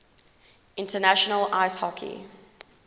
international ice hockey